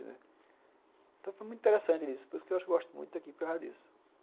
Então, foi muito interessante isso, por isso que eu acho que eu gosto muito daqui, por causa disso.